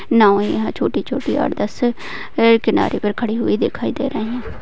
नाव याहा छोटी-छोटी आठ दस किनारे और खड़ी हुई दिखाई दे रही है।